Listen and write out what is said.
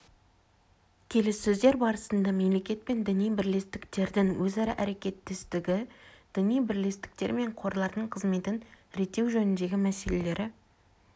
келіссөздер барысында мемлекет пен діни бірлестіктердің өзара әрекеттестігі діни бірлестіктер мен қорлардың қызметін реттеу жөніндегі мәселелері